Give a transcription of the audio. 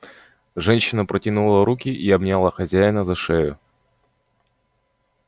женщина протянула руки и обняла хозяина за шею